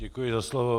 Děkuji za slovo.